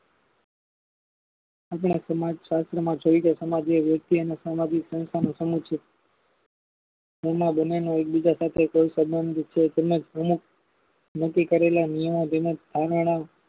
આપણા સમાજ શાસ્ત્ર માં જોઈ ગયા સમાજએ વ્યક્તિ અને સામાજિક સંસ્થાનું સમૂહ છે. તેમાં બંને નો એક બીજા સાથે કોઈ સબંધ છે તેમાં નક્કી કરેલા નિર્ણયો તેમજ ધારણા